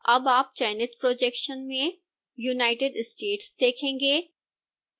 अब आप चयनित projection में united states देखेंगे